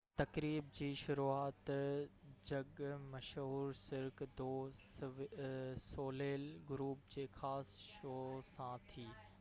تقريب جي شروعات جڳ مشهور سرڪ دو سوليل گروپ جي خاص شو سان ٿي